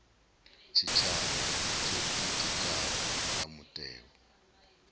tshitshavha tsho ḓitikaho nga mutheo